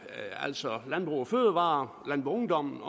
altså sådan landbrug fødevarer landboungdom